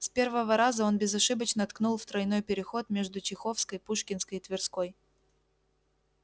с первого раза он безошибочно ткнул в тройной переход между чеховской пушкинской и тверской